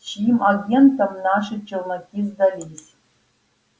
чьим агентам наши челноки сдались